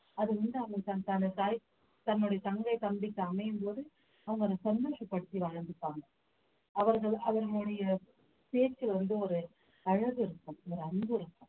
அது வந்து அவங்களுக்கு தன்னுடைய தங்கை தம்பிக்கு அமையும்போது அவங்க அதை சந்தோஷப்படுத்தி வாழ்ந்துப்பாங்க அவர்கள் அவர்களுடைய பேச்சு வந்து ஒரு அழகு இருக்கும் ஒரு அன்பு இருக்கும்